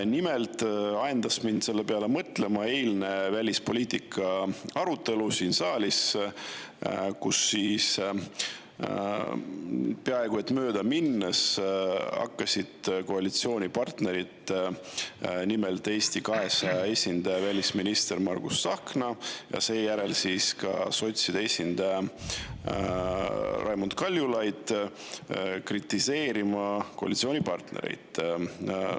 Nimelt ajendas mind selle peale mõtlema eilne välispoliitika arutelu siin saalis, kus siis peaaegu et möödaminnes hakkasid koalitsioonipartnerid, nimelt Eesti 200 esindaja välisminister Margus Tsahkna ja seejärel ka sotside esindaja Raimond Kaljulaid kritiseerima koalitsioonipartnereid.